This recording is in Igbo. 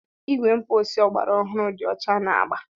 Igwe mposi ọgbara ọhụrụ dị ọcha na agba.